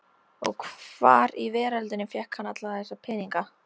Og hvar í veröldinni fékk hann alla þessa peninga?